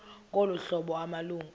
ngolu hlobo amalungu